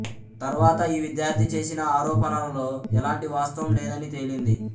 తర్వాత ఈ విద్యార్థి చేసిన ఆరోపణలలో ఎలాంటి వాస్తవం లేదని తేలింది